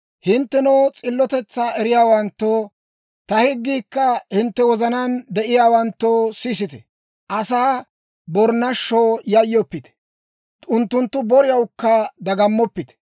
«Hinttenoo s'illotetsaa eriyaawanttoo, ta higgiikka hintte wozanaan de'iyaawanttoo, sisite. Asaa borinashshoo yayyoppite; unttunttu boriyawukka dagammoppite.